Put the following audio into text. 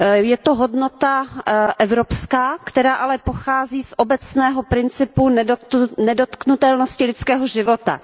Je to hodnota evropská, která ale pochází z obecného principu nedotknutelnosti lidského života.